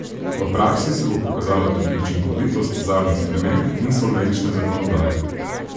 V praksi se bo pokazala tudi učinkovitost zadnjih sprememb insolvenčne zakonodaje.